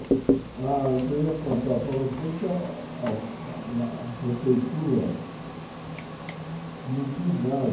Ah, eu queria contar para você que a a a a prefeitura não quis mais.